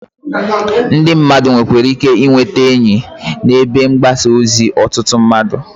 Ndị mmadụ nwekwara ike ị nwete ezigbo enyi ebe mgbasa ozi ọtụtụ mmadụ.